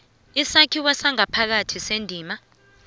isakhiwo sangaphakathi sendima